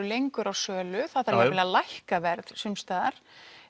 lengur á sölu það þarf jafnvel að lækka verð sums staðar